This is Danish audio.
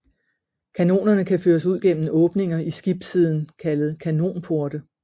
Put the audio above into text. Kanonerne kan føres ud gennem åbninger i skibssiden kaldet kanonporte